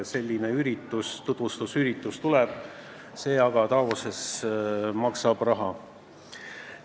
Selline tutvustusüritus Davosis tuleb, aga see maksab raha.